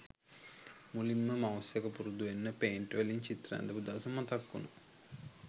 මුලින්ම මවුස් එක පුරුදු වෙන්න පේන්ට් වලින් චිත්‍ර ඇඳපු දවස මතක් වුනා